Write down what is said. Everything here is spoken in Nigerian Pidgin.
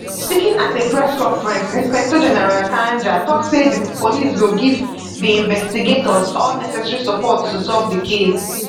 speaking at a press conference inspector general kanja tok say di police go give di investigators all necessary support to solve di case